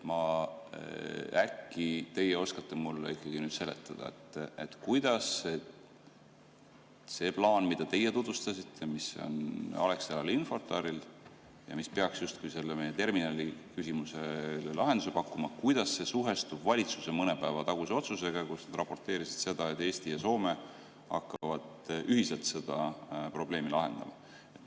Äkki teie oskate mulle ikkagi seletada, kuidas see plaan, mida teie tutvustasite, mis on Alexelal ja Infortaril ja mis peaks justkui meie terminaliküsimusele lahenduse pakkuma, kuidas see suhestub valitsuse mõne päeva taguse otsusega, kus nad raporteerisid, et Eesti ja Soome hakkavad ühiselt seda probleemi lahendama?